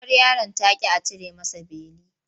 Uwar yaron ta ƙi a cire masa beli.